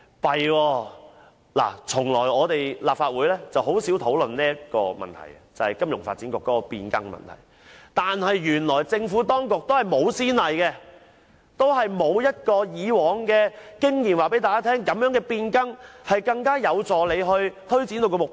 這樣便不行了，立法會甚少討論金發局營運方式變更的問題，但原來政府當局也沒有先例可循，沒法憑以往經驗印證這種變更能有助政府推展目標。